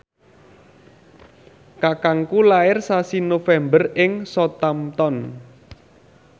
kakangku lair sasi November ing Southampton